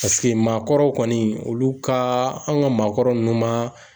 maakɔrɔw kɔni , olu ka , anw ka maakɔrɔ nunnu maa